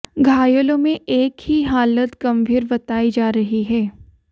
घायलों में एक ही हालत गंभीर बताई जा रही है